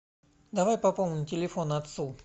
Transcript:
давай пополним телефон отцу